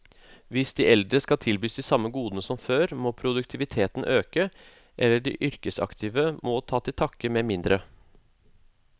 Hvis de eldre skal tilbys de samme godene som før, må produktiviteten øke, eller de yrkesaktive må ta til takke med mindre.